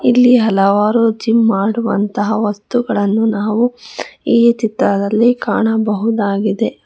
ಇಲ್ಲಿ ಹಲವಾರು ಜಿಮ್ ಮಾಡುವಂತಹ ವಸ್ತುಗಳನ್ನು ನಾವು ಈ ಚಿತ್ರದಲ್ಲಿ ಕಾಣಬಹುದಾಗಿದೆ.